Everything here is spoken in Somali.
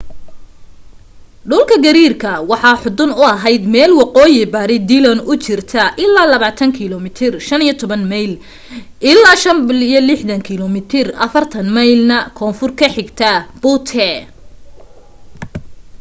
dhulka gariirka waxa u xudun ahayd meel waqooyi-bari dillon u jirta ilaa 20 km 15 mayl ilaa 65 km 40 mayl na koonfur ka xigta butte